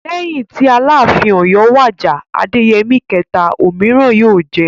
Lẹ́yìn tí Aláàfin Ọ̀yọ́ wàjà (Adéyẹmí kẹ̀ta). Òmíràn yóò jẹ.